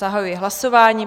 Zahajuji hlasování.